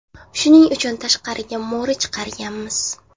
Shuning uchun tashqariga mo‘ri chiqarganmiz.